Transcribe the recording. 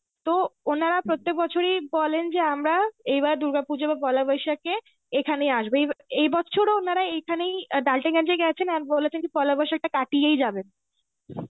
তো ওনারা প্রত্যেক বছরই বলেন যে আমরা এইবার দুর্গাপুজো কিনবা পয়লা বৈশাখে এখানেই আসবে. এ~ এবছরও ওনারা এখানেই গেছেন আর বলেছেন যে পয়লা বৈশাখটা কাটিয়েই যাবেন.